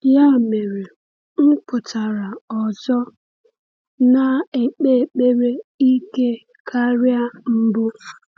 Ya mere, m pụtara ọzọ, na-ekpe ekpere ike karịa mbụ.